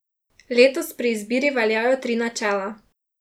Letos pri izbiri veljajo tri načela.